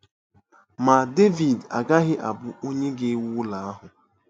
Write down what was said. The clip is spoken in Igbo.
Ma Devid agaghị abụ onye ga-ewu ụlọ ahụ.